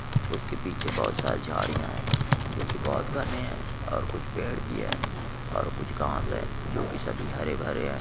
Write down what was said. उसके पीछे बहुत सारी झाड़ियां हैं जो की बहुत घने है और कुछ पेड़ भी है और कुछ घास है जो कि सभी हरे-भरे हैं।